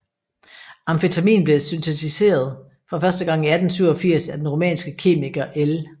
Amfetamin blev syntetiseret for første gang i 1887 af den rumænske kemiker L